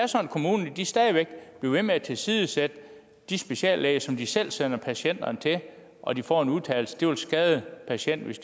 kommunen stadig væk bliver ved med at tilsidesætte de speciallæger som de selv sender patienterne til og de får den udtalelse at det vil skade patienten hvis